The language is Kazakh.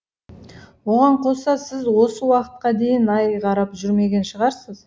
оған қоса сіз осы уақытқа дейін ай қарап жүрмеген шығарсыз